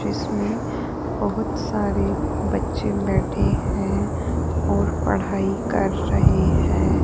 इसमें बहुत सारे बच्चे बैठे हैं और पढ़ाई कर रहे हैं।